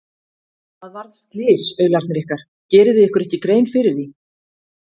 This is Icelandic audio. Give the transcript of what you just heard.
Það varð slys, aularnir ykkar, gerið þið ykkur ekki grein fyrir því?